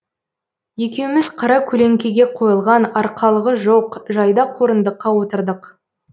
екеуміз қаракөлеңкеге қойылған арқалығы жоқ жайдақ орындыққа отырдық